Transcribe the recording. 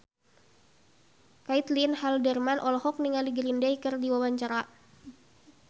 Caitlin Halderman olohok ningali Green Day keur diwawancara